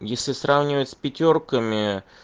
если сравнивать с пятёрками